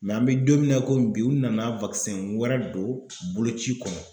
an mɛ don min na i komi bi u nana wɛrɛ don boloci kɔnɔ.